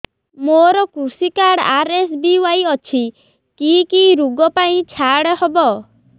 ମୋର କୃଷି card RSBY ଅଛି କି କି ଋଗ ପାଇଁ ଛାଡ଼ ହବ